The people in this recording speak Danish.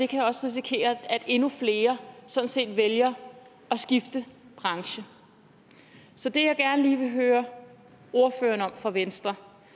kan også risikere at endnu flere sådan set vælger at skifte branche så det jeg gerne vil høre ordføreren fra venstre